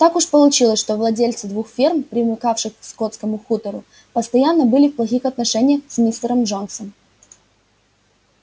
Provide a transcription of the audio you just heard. так уж получилось что владельцы двух ферм примыкавших к скотскому хутору постоянно были в плохих отношениях с мистером джонсом